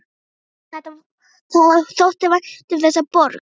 Gísla þótti vænt um þessa borg.